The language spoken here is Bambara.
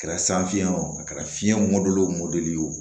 A kɛra san fiɲɛ o a kɛra fiɲɛ mɔdɛli o mɔdɛli ye o